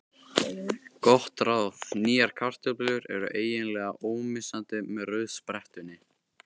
Gott ráð: Nýjar kartöflur eru eiginlega ómissandi með rauðsprettunni.